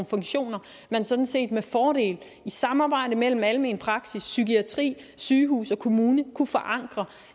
funktioner man sådan set med fordel i samarbejde mellem almen praksis psykiatri sygehus og kommune kunne forankre